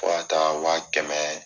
Fo ka taa wa kɛmɛ